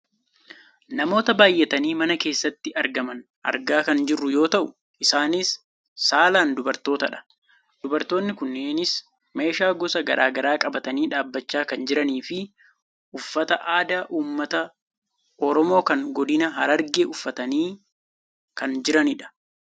namoota baayyatanii mana keessatti argaman argaa kan jirru yoo ta'u isaanis saalaan dubartootadha. dubartoonni kunneenis meeshaa gosa gara garaa qabatanii dhaabbachaa kan jiraniifi uffata aadaa uummata oromoo kan godina Hararge uffatanii kan jiranidha.